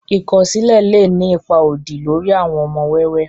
ikọsilẹ lé ní ipá odì lórí àwon ọmọ wẹ́wẹ